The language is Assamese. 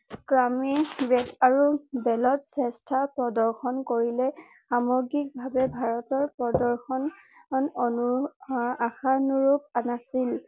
দলত শ্ৰেষ্ঠ প্ৰৰ্দশন কৰিলে সামগ্ৰিক ভাৱে ভাৰতৰ প্ৰৰ্দশন অনু আশানুৰূপ নাছিল